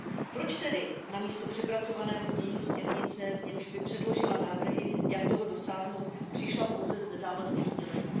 Proč tedy místo přepracovaného znění směrnice, v němž by předložila návrhy, jak toho dosáhnout, přišla pouze s nezávazným sdělením?